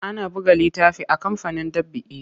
Ana buga littafi a kamfanin ɗab'i.